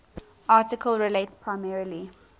article relates primarily